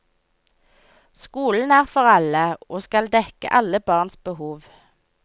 Skolen er for alle, og skal dekke alle barns behov.